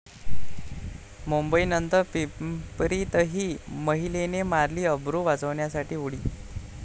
मुंबई नंतर पिंपरीतही महिलेने मारली अब्रू वाचवण्यासाठी उडी